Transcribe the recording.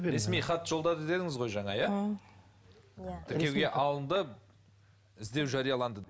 ресми хат жолдады дедіңіз ғой жаңа иә тіркеуге алынды іздеу жарияланды деп